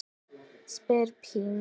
spyr Pína.